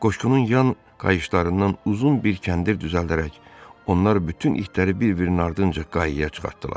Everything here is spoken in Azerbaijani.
Qoşqunun yan qayışlarından uzun bir kəndir düzəldərək onlar bütün itləri bir-birinin ardınca qayaya çıxartdılar.